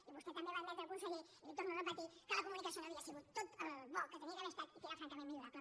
i vostè també va admetre conseller i li ho torno a repetir que la comunicació no havia sigut tan bona com havia d’haver estat i que era francament millorable